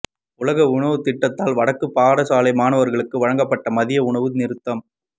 உலக உணவுத் திட்டத்தால் வடக்குப் பாடசாலை மாணவர்களுக்கு வழங்கப்பட்ட மதிய உணவு நிறுத்தம்